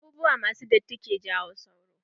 Abubuwa ma su datti ke jawo sauro.